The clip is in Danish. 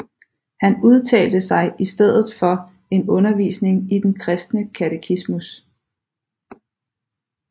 Han udtalte sig i stedet for en undervisning i den kristne katechismus